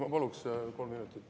Ma paluksin kolm minutit.